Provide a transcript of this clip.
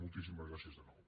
moltíssimes gràcies de nou